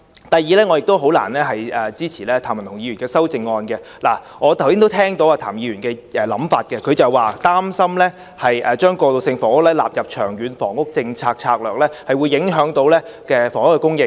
第二，我亦難以支持譚文豪議員的修正案，我剛才聽到譚議員的想法，他表示擔心將過渡性房屋納入《長遠房屋策略》，會影響房屋供應。